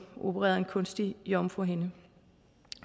opereret en kunstig jomfruhinde